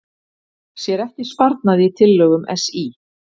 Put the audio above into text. Sér ekki sparnað í tillögum SÍ